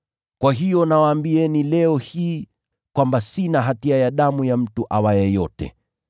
Kwa hiyo nawatangazia leo, sina hatia ya damu ya mtu awaye yote.